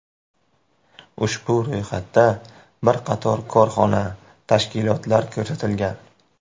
Ushbu ro‘yxatda bir qator korxona, tashkilotlar ko‘rsatilgan.